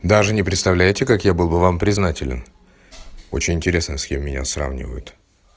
даже не представляете как я был бы вам признателен очень интересно с кем меня сравнивают